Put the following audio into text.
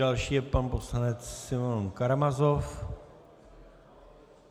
Další je pan poslanec Simeon Karamazov.